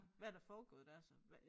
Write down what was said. Hvad der foregået dér så